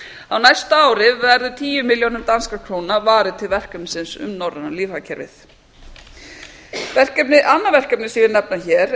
á næsta ári verður tíu milljónir danskra króna varið til verkefnisins um norræna lífhagkerfið annað verkefni sem ég vil nefna hér